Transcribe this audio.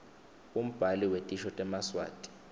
umbhali wetisho temaswati